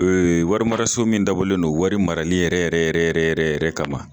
Ee wari maraso min dabɔlen do wari marali yɛrɛ yɛrɛ yɛrɛ yɛrɛ kama.